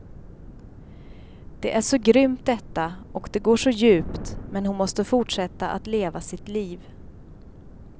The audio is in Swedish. Det är så grymt detta och det går så djupt men hon måste fortsätta att leva sitt liv.